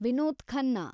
Vinod Khanna